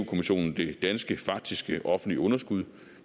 kommissionen det danske faktiske offentlige underskud